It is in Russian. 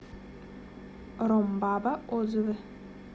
ромбаба отзывы